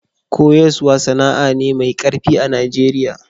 Koyaswa sana'a ne mai karfi a'Nijeriya.